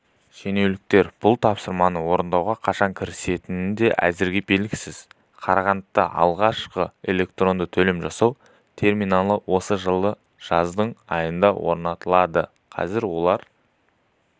шенеуніктердің бұл тапсырманы орындауға қашан кірісетіндері әзірге белгісіз қарағандыда алғашқы электронды төлем жасау терминалы осы жылдың жаз айында орнатылды қазір олар